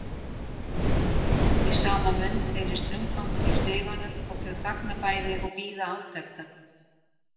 Í sama mund heyrist umgangur í stiganum og þau þagna bæði og bíða átekta.